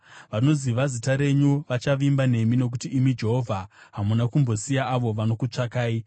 Vanoziva zita renyu vachavimba nemi, nokuti imi, Jehovha hamuna kumbosiya avo vanokutsvakai.